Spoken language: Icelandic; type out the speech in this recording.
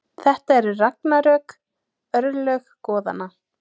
Þetta eru ragnarök, örlög goðanna.